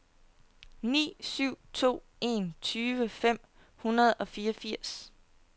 ni syv to en tyve fem hundrede og fireogfirs